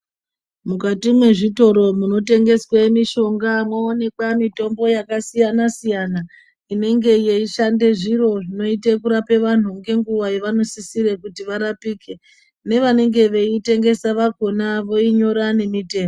Mukati mwezvitoro munotengeswe mishonga mwoonekwa mitombo yakasiyana siyana inenge yeishande zviro zvinoite kurape vantu ngenguva yavanosisire kuti varapike nevanenge veyitengesa vakona voinyora nemitengo.